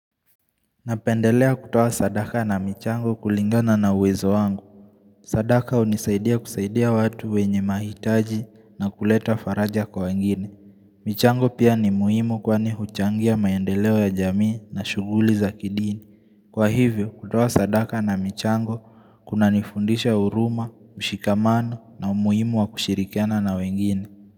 Napendelea kutoa sadaka na michango kulingana na uwezo wangu. Sadaka hunisaidia kusaidia watu wenye mahitaji na kuleta faraja kwa wengine. Michango pia ni muhimu kwani huchangia maendeleo ya jamii na shughuli za kidini. Kwa hivyo kutoa sadaka na michango kuna nifundisha huruma, mshikamano na umuhimu wa kushirikana na wengine.